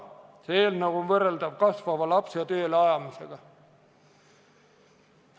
See eelnõu on võrreldav kasvava lapse tööle ajamisega.